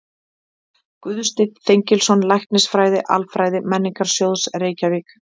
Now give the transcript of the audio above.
Guðsteinn Þengilsson, Læknisfræði-Alfræði Menningarsjóðs, Reykjavík